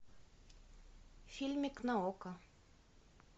фильмик на окко